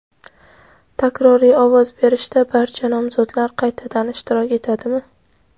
Takroriy ovoz berishda barcha nomzodlar qaytadan ishtirok etadimi?.